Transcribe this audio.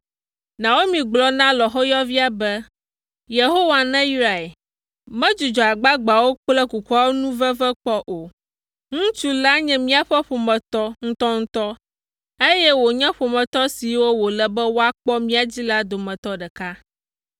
Naomi gblɔ na lɔ̃xoyɔvia be, “Yehowa neyrae! Medzudzɔ agbagbeawo kple kukuawo nu veve kpɔ o. Ŋutsu la nye míaƒe ƒometɔ ŋutɔŋutɔ, eye wònye ƒometɔ siwo wòle be woakpɔ mía dzi la dometɔ ɖeka.”